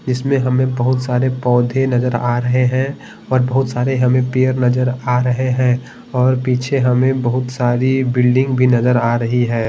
जिसमें हमें बहुत सारे पौधे नजर आ रहे हैं और बहुत सारे हमें पेर नजर आ रहे हैं और पीछे हमें बहुत सारी बिल्डिंग भी नजर आ रही हैं।